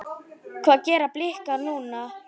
Hvað gera Blikar núna?